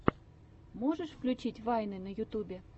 можешь включить вайны на ютубе